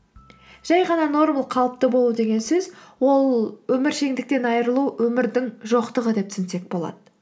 жай ғана қалыпты болу деген сөз ол өміршендіктен айырылу өмірдің жоқтығы деп түсінсек болады